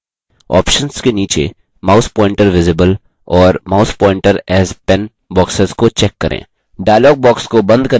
options के नीचे mouse pointer visible और mouse pointer as pen boxes को check करें